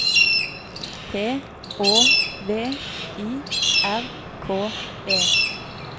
P Å V I R K E